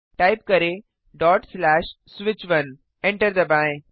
type करें switch1 enter दबाएँ